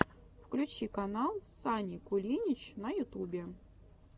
включи канал сани кулинич на ютубе